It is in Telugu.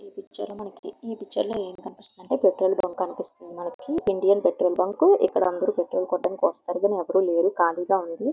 ఈ పిక్చర్ లో మనకేం కనిపిస్తుంది అంటే పెట్రోల్ బంక్ కనిపిస్తుంది. మనకి ఇది ఇండియన్ పెట్రోల్ బంకు . ఇక్కడ అందరూ పెట్రోల్ కొట్టించుకోవడానికి వస్తుంటారు కానీ ఎవరూ లేరు ఖాళీగా ఉంది.